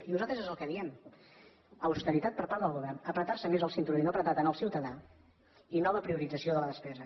i nosaltres és el que diem austeritat per part del govern estrènyer se més el cinturó i no estrènyer tant el ciutadà i nova priorització de la despesa